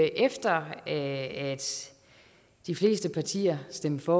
efter at de fleste partier stemte for